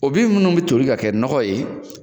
O bin minnu bɛ toli ka kɛ nɔgɔ ye,